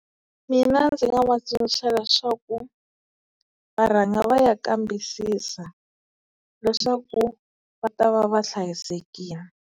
Mina ndzi nga va tsundzuxa leswaku va rhanga va ya kambisisa leswaku va ta va va hlayisekini.